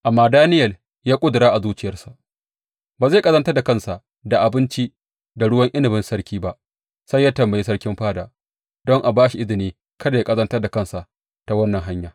Amma Daniyel ya ƙudura a zuciyarsa ba zai ƙazantar da kansa da abinci da ruwan inabin sarki ba, sai ya tambayi sarkin fada don a ba shi izinin kada yă ƙazantar da kansa ta wannan hanya.